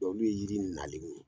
Dɔnki n'u ye yiri minɛ ale bolo